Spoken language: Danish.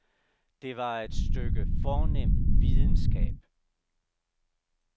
Det var et stykke fornem videnskab.